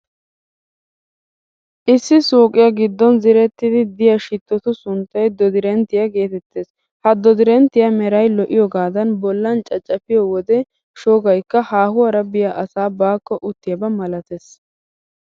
Issi suuqiyaa giddon ziiretidi de'iyaa shittotu sunttay dodirenttiyaa geetettees. Ha dodirenttiyaassi meray lo'iyoogaadan bollan caccafiyo wode shoggaykka haahuwaara biya asaa baakko uuttiyaaba malatees.